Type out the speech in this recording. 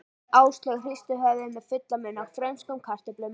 Áslaug hristi höfuðið með fullan munn af frönskum kartöflum.